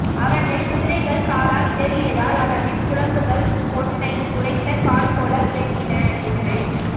அவற்றைக் குதிரைகள் காலால் இடறியதால் அவற்றின் குளம்புகள் பொன்னை உரைத்த கல்போல விளங்கின என்று